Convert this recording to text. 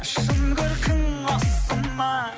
шын көркің осы ма